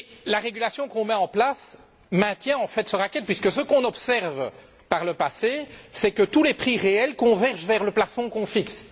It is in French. La régulation qu'on met en place maintient en fait ce racket puisque, ce qu'on a observé par le passé, c'est que tous les prix réels convergent vers le plafond qu'on fixe.